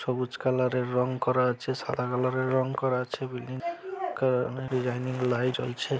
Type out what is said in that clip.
সবুজ কালার -এর রং করা আছে সাদা কালার -এর রং করা আছে বিল্ডিং কা ডিজাইনিং লাইট জ্বলছে ।